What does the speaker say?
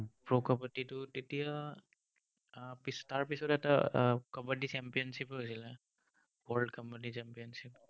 pro কাবাদ্দীটো, তেতিয়া আহ তাৰ পিছত এটা আহ কাবাদ্দী championship ও হৈছিলে, world কাবাদ্দী championship